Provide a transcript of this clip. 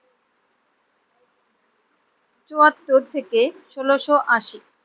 চুয়াত্তর থেকে ষোলোশো আশি।